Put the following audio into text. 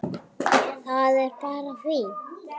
Það er bara fínt!